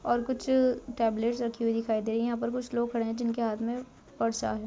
और कुछ टेबलेट रखी दिखाई दे रही है यहां पर कुछ लोग खड़े हुए जिनके हाथ में पर्स है।